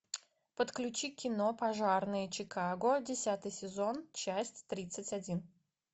подключи кино пожарные чикаго десятый сезон часть тридцать один